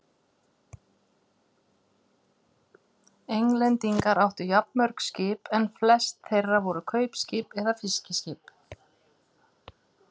Englendingar áttu jafnmörg skip en flest þeirra voru kaupskip eða fiskiskip.